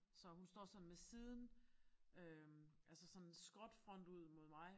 Så hun står sådan med siden øh altså sådan skråt front ud mod mig